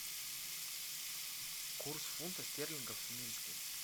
курс фунта стерлингов в минске